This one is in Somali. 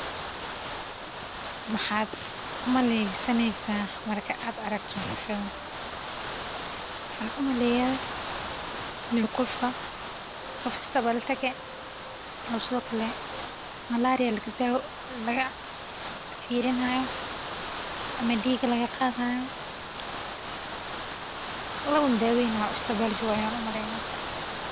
Maxaad u malaynaysaa markaad aragto howshadan, waxan u maleyaa in u qof isbital tage, oo sithokale malaria laga firini hayo, ama diig laga qaadi hayo, lana daweyni hayo oo isbital jogo ayan u maleya.